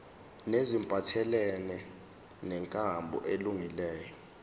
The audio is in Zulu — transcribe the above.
neziphathelene nenkambo elungileyo